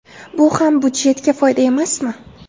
Bu ham budjetga foyda emasmi?